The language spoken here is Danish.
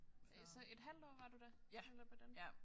Øh så et halvt år var du der eller hvordan